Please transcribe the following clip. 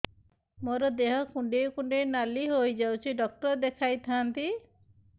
ମୋର ଦେହ କୁଣ୍ଡେଇ କୁଣ୍ଡେଇ ନାଲି ହୋଇଯାଉଛି ଡକ୍ଟର ଦେଖାଇ ଥାଆନ୍ତି